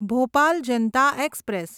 Bhopal Janata express